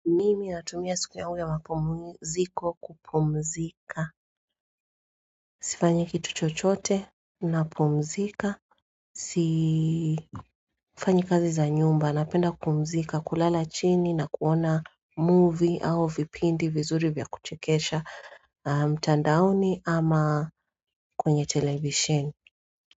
Mimi natumia siku ya yamapumziko kupumzika. Sifanyi kitu chochote napumzika. Sifanyi kazi za nyumba. Napenda kupumzika kulala chini na kuona movie au vipindi vizuri vya kuchekesha. Mtandaoni ama kwenye television.